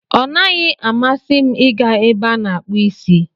Ọ naghị amasị m ị ga ebe a na-akpụ isi.